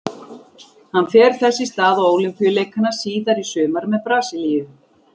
Hann fer þess í stað á Ólympíuleikana síðar í sumar með Brasilíu.